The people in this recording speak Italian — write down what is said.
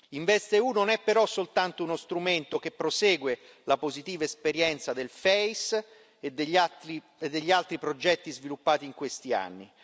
InvestEU non è però soltanto uno strumento che prosegue la positiva esperienza del FEIS e degli altri progetti sviluppati in questi anni.